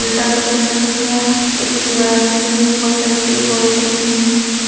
उल्टा करके रखा गया है एक दीवार दिख रही है बहुत सारे पेड पौधे दिख रहे हैं।